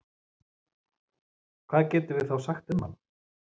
Hvað getum við þá sagt um hann?